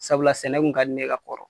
Sabula sɛnɛ kun ka di ne ye ka kɔrɔ.